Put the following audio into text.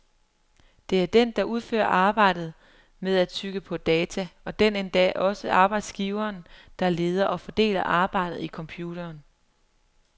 Det er den, der udfører arbejdet med at tygge på data, og den er endda også arbejdsgiveren, der leder og fordeler arbejdet i computeren.